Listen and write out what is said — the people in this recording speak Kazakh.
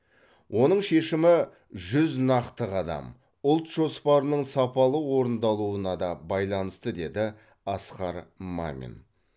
оның шешімі жүз нақты қадам ұлт жоспарының сапалы орындалуына да байланысты деді асқар мамин